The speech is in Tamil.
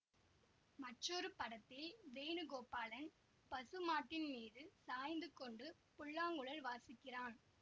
மற்றொரு படத்தில் வேணுகோபாலன் பசுமாட்டின் மீது சாய்ந்து கொண்டு புல்லாங்குழல் வாசிக்கிறான்